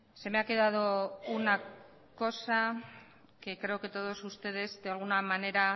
se me ha quedado una cosa que creo que todos ustedes de alguna manera